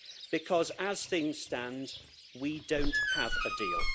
Because as things stand, we don't have a deal.